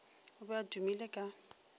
o be a tumile ka